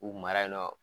U mara yen nɔ